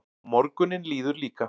Og morgunninn líður líka.